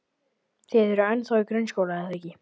Þið eruð ennþá í grunnskóla, er það ekki?